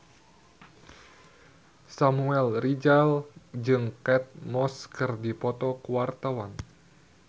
Samuel Rizal jeung Kate Moss keur dipoto ku wartawan